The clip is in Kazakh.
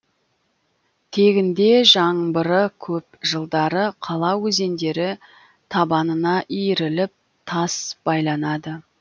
тегінде жаңбыры көп жылдары қала өзендері табанына иіріліп тас байланады